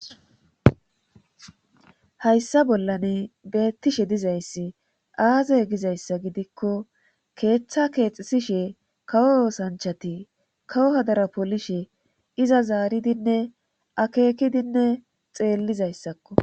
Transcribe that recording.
hayssa bollan beettishe dizayssi aazey gizayssa gidikko keeththa keexisishe kawo oosanchati kawo hadara polishe iza zaaridinne akekidinne xeellizayssakko